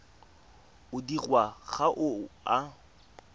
o dirwang ga o a